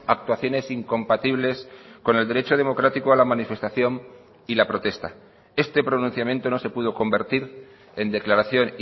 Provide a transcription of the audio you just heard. actuaciones incompatibles con el derecho democrático a la manifestación y la protesta este pronunciamiento no se pudo convertir en declaración